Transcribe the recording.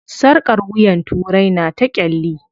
Sarƙar wuyan turai na ta ƙyalli.